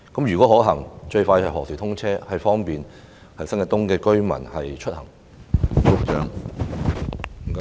如可行，最快何時通車以方便新界東居民出行？